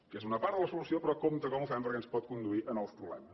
que és una part de la solució però compte com ho fem perquè ens pot conduir a nous problemes